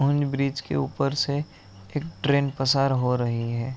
और ब्रिज के ऊपर से एक ट्रैन पसार हो रही हैं।